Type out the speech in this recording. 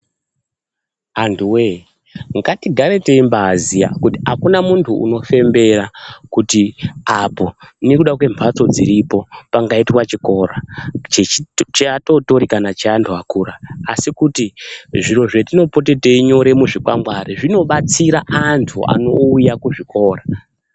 Antu we ngati gare teimbai iziya kuti akuna munhu unofembera kuti apo nekuda kwe mbatso dziripo pangaita chikora chea totori kana antu akura asi kutu zviro zvatinopote teinyora mu zvikwangwari zvino batsira antu anouya ku zvikora.